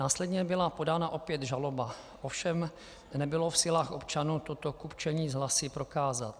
Následně byla podána opět žaloba, ovšem nebylo v silách občanů toto kupčení s hlasy prokázat.